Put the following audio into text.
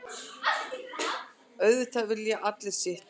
Auðvitað vilji allir sitt.